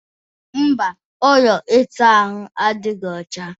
Mba, ụlọ ịsa ahụ adịghị ọcha